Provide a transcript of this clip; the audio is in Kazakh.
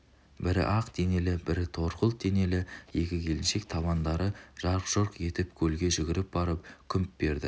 бірі ақ денелі бірі торғылт денелі екі келіншек табандары жарқ-жұрқ етіп көлге жүгіріп барып күмп берді